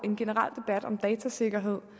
en generel debat om datasikkerhed